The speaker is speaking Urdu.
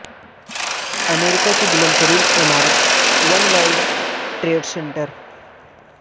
امریکہ کی بلند ترین عمارت ون ورلڈ ٹریڈ سنٹر